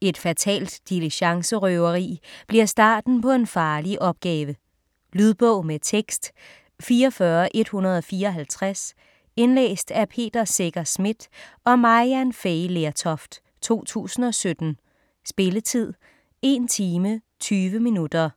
Et fatalt diligencerøveri bliver starten på en farlig opgave. Lydbog med tekst 44154 Indlæst af Peter Secher Schmidt og Maryann Fay Lertoft, 2017. Spilletid: 1 time, 20 minutter.